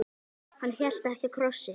Hann hélt ekki á krossi.